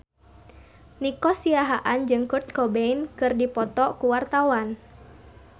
Nico Siahaan jeung Kurt Cobain keur dipoto ku wartawan